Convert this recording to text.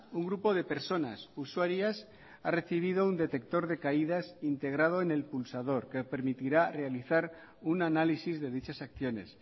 un grupo de personas usuarias ha recibido un detector de caídas integrado en el pulsador que permitirá realizar un análisis de dichas acciones